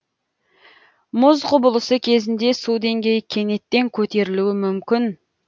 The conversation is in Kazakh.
мұз құбылысы кезінде су деңгейі кенеттен көтерілуі мүмкін